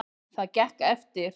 Það gekk eftir.